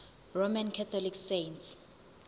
roman catholic saints